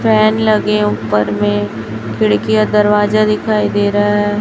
Fan लगे ऊपर में खिड़कीयाॅं दरवाजा दिखाई दे रहा है।